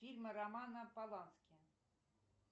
фильмы романа полански